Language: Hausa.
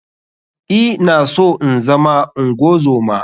I na so inzama ungozoma.